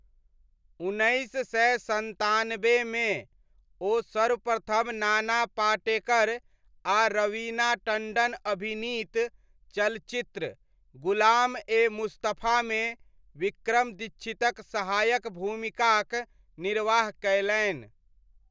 उन्नैस सय सन्तानबेमे, ओ सर्वप्रथम नाना पाटेकर आ रवीना टण्डन अभिनीत चलचित्र, ग़ुलाम ए मुस्तफामे विक्रम दीक्षितक सहायक भूमिकाक निर्वाह कयलनि।